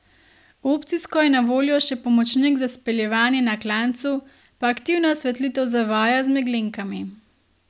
Opcijsko je na voljo še pomočnik za speljevanje na klancu, pa aktivna osvetlitev zavoja z meglenkami ...